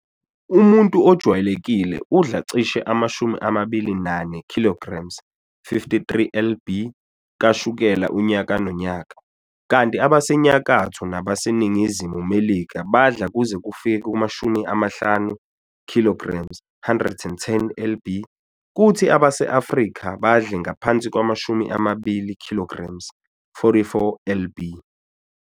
Umuntu ojwayelekile udla cishe ama-24 kilograms, 53 lb, kashukela unyaka nonyaka, kanti abaseNyakatho nabaseNingizimu Melika badla kuze kufike kuma-50 kilograms, 110 lb, kuthi abase-Afrika badle ngaphansi kwama-20 kilograms, 44 lb.